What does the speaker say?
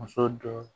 Muso dɔ